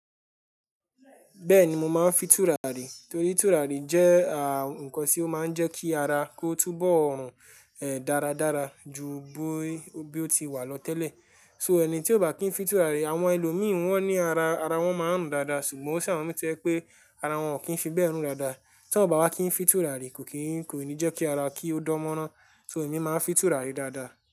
Bẹ́ẹ̀ni mo máa ń fi tùràrí torí tùràrí jẹ́ à ǹkan tí ó máa ń jẹ́ kí ara kó túbọ̀, ẹ́, dáradára ju bó, bó ti wà lọ tẹ́lẹ̀. So ẹni tí ó bá kí ń fi tùràrí, àwọn ẹlòmíràn wọ́n ní ara, ara wọn máa ń rùn dáadáa ṣùgbọ́n sì àwọn mìí tí ẹ pé ara wọn ò kí ń fi bẹ́ẹ̀ rùn dáadáa. Tí ọ bá wá kí ń fi tùràrí, kò kì í, kò ní jẹ́ kí ara kí ó dánmọ́ran. So èmi máa ń fi tùràrí dáadáa.